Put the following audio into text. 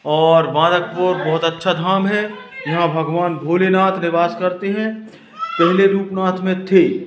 और भारतपुर बहोत अच्छा धाम हैं जहां भगवान भोलेनाथ निवास करते हैं पहले रुपनाथ मे थे।